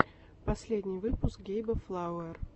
последний выпуск гейба флауэр